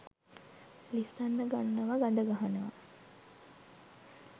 ලිස්සන්න ගන්නව ගඳගහනව